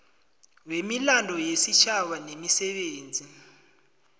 wemilando yesitjhaba nemisebenzi